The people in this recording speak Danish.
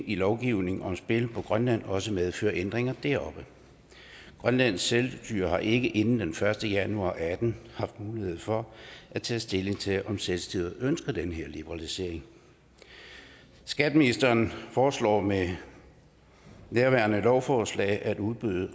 i lovgivningen om spil på grønland også medføre ændringer deroppe grønlands selvstyre har ikke inden den første januar og atten haft mulighed for at tage stilling til om selvstyret ønsker den her liberalisering skatteministeren foreslår med nærværende lovforslag at udbud